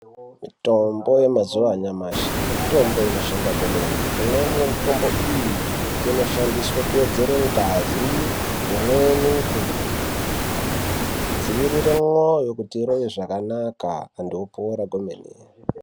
Mitombo yemazuwa anyamashi mitombo inoshanda kwemene. Imweni mitombo iyi inoshandiswe kuwedzera ngazi. Imweni kudzivirire mwoyo kuti irove zvakanaka antu opora kwemene.